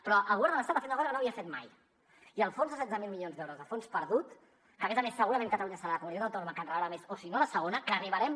però el govern de l’estat ha fet una cosa que no havia fet mai i el fons de setze mil milions d’euros a fons perdut que a més a més segurament catalunya serà la comunitat autònoma que en rebrà més o si no la segona que arribarem